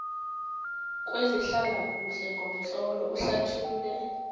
kwezehlalakuhle ngomtlolo uhlathulule